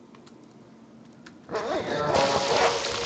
елена молочкова